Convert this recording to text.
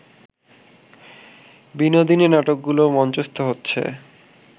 বিনোদিনী নাটকগুলো মঞ্চস্থ হচ্ছে